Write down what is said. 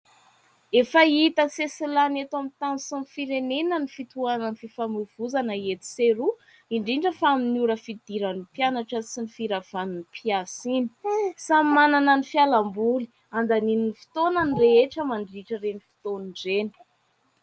Efa hita sesilany eto amin'ny tany sy ny firenena ny fitohanan'ny fifamoivoizana etsy sy eroa, indrindra fa amin'ny ora fidiran'ny mpianatra sy ny firavan'ny mpiasa iny. Samy manana ny fialamboly handaniany ny fotoana ny rehetra mandritra ireny fotoana ireny.